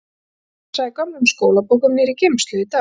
Ég var að gramsa í gömlum skólabókum niðri í geymslu í dag.